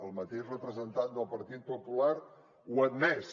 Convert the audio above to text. el mateix representant del partit popular ho ha admès